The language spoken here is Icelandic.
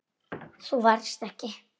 Þú varst ekki.